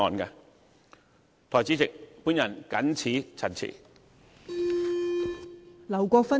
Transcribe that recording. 代理主席，我謹此陳辭。